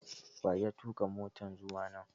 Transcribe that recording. Wa ya tuka motan zuwa nan?